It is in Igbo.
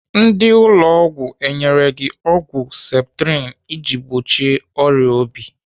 Ndị ụlọ ọgwụ enyere gị ọgwụ septrin iji gbochie ọrịa obi?